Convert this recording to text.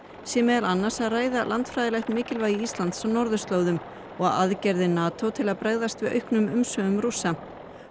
sé meðal annars að ræða landfræðilegt mikilvægi Íslands á norðurslóðum og aðgerðir NATO til að bregðast við auknum umsvifum Rússa